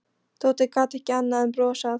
Tóti gat ekki annað en brosað.